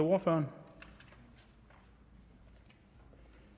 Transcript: hvorfor det